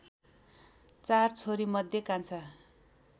चार छोरीमध्ये कान्छा